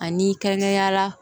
Ani kɛrɛnkɛrɛnyala